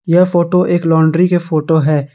यह फोटो एक लॉन्ड्री के फोटो है।